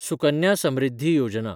Sukanya Samriddhi Yojana